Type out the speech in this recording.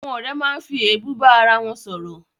Àwọn ọ̀rẹ́ máa ń fi èébú bá arawọn sọ̀rọ̀